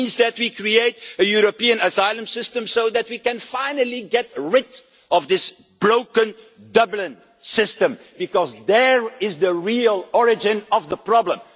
It means that we create a European asylum system so that we can finally get rid of this broken Dublin system, because that is the real origin of the problem.